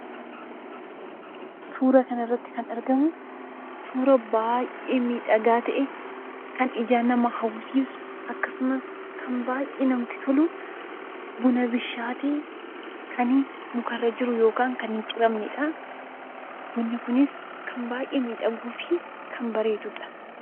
Suuraa kanarratti kan argamu, suuraa baay'ee miidhagaa ta'e, kan ijaan nama hawwisiisu akkasumas kan baay'ee namatti tolu, buna bilchaate kan mukarra jiru yookiin hin ciramneedha. Bunni kunis kan baay'ee miidhaguu fi kan bareeduudha.